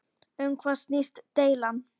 Um hvað snýst deilan?